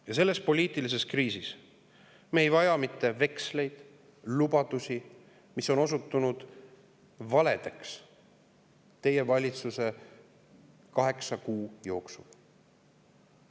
Ja selles poliitilises kriisis me ei vaja mitte veksleid, lubadusi, mis on osutunud valedeks teie valitsuse kaheksa kuu jooksul.